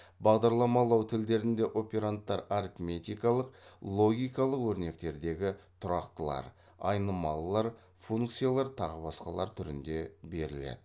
бағдарламалау тілдерінде операндтар арифметикалық логикалық өрнектердегі тұрақтылар айнымалылар функциялар тағы басқалар түрінде беріледі